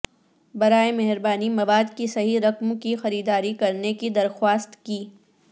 براہ مہربانی مواد کی صحیح رقم کی خریداری کرنے کی درخواست کی